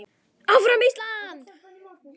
ÁFRAM ÍSLAND!